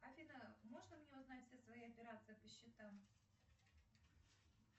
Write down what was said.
афина можно мне узнать все свои операции по счетам